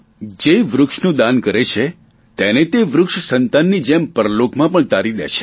જે વૃક્ષનું દાન કરે છે તેને તે વૃક્ષ સંતાનની જેમ પરલોકમાં પણ તારી દે છે